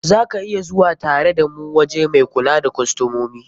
Za ka iya zuwa tare da mu waje mai kula da kostomomi.